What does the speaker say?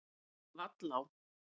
Vallá